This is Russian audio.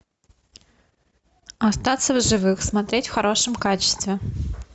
остаться в живых смотреть в хорошем качестве